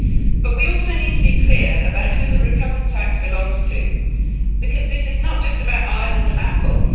But we also need to be clear about who the recovered tax belongs to, because this is not just about Ireland and Apple.